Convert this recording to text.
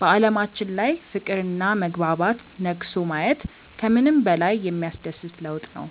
በዓለማችን ላይ ፍቅርና መግባባት ነግሶ ማየት ከምንም በላይ የሚያስደስት ለውጥ ነው።